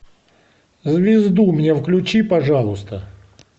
звезду мне включи пожалуйста